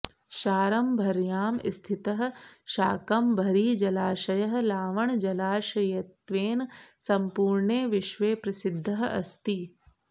शारम्भर्यां स्थितः शाकम्भरीजलाशयः लावणजलाशयत्वेन सम्पूर्णे विश्वे प्रसिद्धः अस्ति